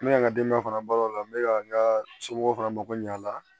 N bɛ ka n ka denbaya fana balo o la n bɛ ka n ka somɔgɔw fana mako ɲ'a la